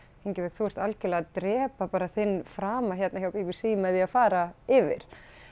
Ingibjörg þú ert algjörlega bara að drepa þinn frama hérna hjá b b c bara með því að fara yfir